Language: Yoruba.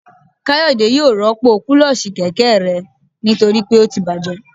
Kayode yóò rọpo kulosí kẹkẹ rẹ nitori pe o tí bajé